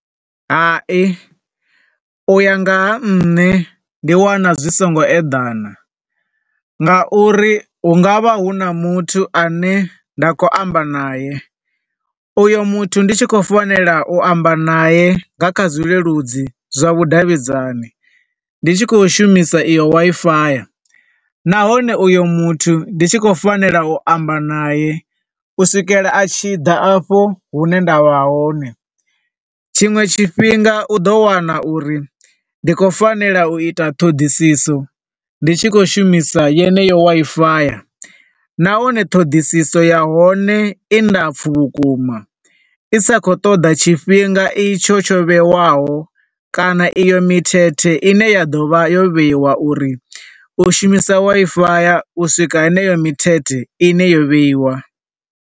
Hai, u ya nga ha nṋe, ndi wana zwi songo eḓana nga uri hu nga vha hu na muthu ane nda khou amba nae, u yo muthu ndi tshi khou fanela u amba nae nga kha zwi leludzi zwa vhudavhidzani ndi tshi khou shumisa iyo Wi-Fi, nahone uyo muthu ndi tshi khou fanela u amba nae u swikela a tshi ḓa a fho hune nda vha hone. Tshiṅwe tshifhinga u ḓo wana u ri ndi khou fanela u ita ṱhoḓiso ndi tshi khou shumisa yeneyo Wi-Fi, nahone ṱhoḓiso ya hone i ndapfu vhukuma, i sa khou ṱoḓa tshifhinga itsho tsho vhewaho kana iyo mithethe ine ya ḓovha yo vheiwa uri u shumisa Wi-Fi uswika heneyo mithethe ine yo vheiwa.